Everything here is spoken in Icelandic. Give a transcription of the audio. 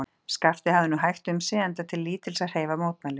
Skapti hafði nú hægt um sig, enda til lítils að hreyfa mótmælum.